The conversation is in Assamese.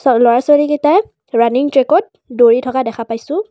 আৰু ল'ৰা ছোৱালীকেইটায়ে ৰানিং ট্ৰেকত দৌৰি থকা দেখা পাইছোঁ।